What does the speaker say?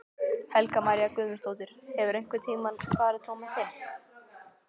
Helga María Guðmundsdóttir: Hefurðu einhvern tímann farið tómhent heim?